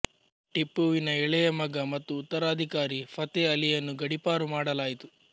ಟಿಪ್ಪುವಿನ ಎಳೆಯ ಮಗ ಮತ್ತು ಉತ್ತರಾಧಿಕಾರಿ ಫತೇ ಆಲಿಯನ್ನು ಗಡೀಪಾರು ಮಾಡಲಾಯಿತು